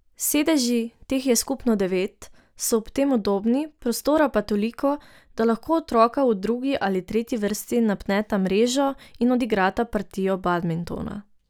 Sedeži, teh je skupno devet, so ob tem udobni, prostora pa toliko, da lahko otroka v drugi ali tretji vrsti napneta mrežo in odigrata partijo badmintona.